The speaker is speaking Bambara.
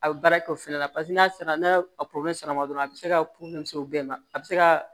A bɛ baara kɛ o fɛnɛ la paseke n'a sera n'a dɔrɔn a bɛ se ka o bɛɛ ma a bɛ se ka